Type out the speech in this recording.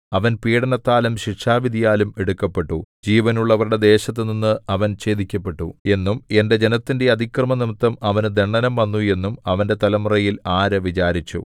അവൻ പീഡനത്താലും ശിക്ഷാവിധിയാലും എടുക്കപ്പെട്ടു ജീവനുള്ളവരുടെ ദേശത്തുനിന്ന് അവൻ ഛേദിക്കപ്പെട്ടു എന്നും എന്റെ ജനത്തിന്റെ അതിക്രമംനിമിത്തം അവനു ദണ്ഡനം വന്നു എന്നും അവന്റെ തലമുറയിൽ ആര് വിചാരിച്ചു